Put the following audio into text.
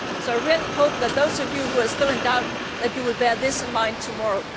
I really hope that those of you who are still in doubt will bear this in mind tomorrow.